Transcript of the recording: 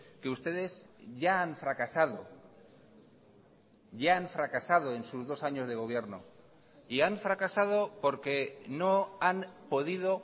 que ustedes ya han fracasado ya han fracasado en sus dos años de gobierno y han fracasado porque no han podido